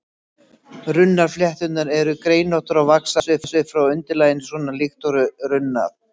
Runnaflétturnar eru greinóttar og vaxa aðeins upp frá undirlaginu, svona líkt og runnar.